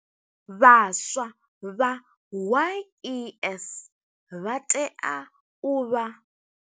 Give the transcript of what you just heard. Vhaswa vha YES vha tea u vha.